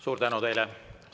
Suur tänu teile!